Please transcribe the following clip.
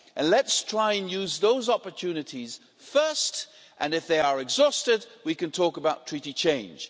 Let's try and use those opportunities first, and if they are exhausted we can talk about treaty change.